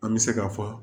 An bɛ se ka fɔ